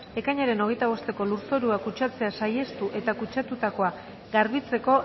ekainaren hogeita bosteko lurzorua kutsatzea saihestu eta kutsatutakoa garbitzeko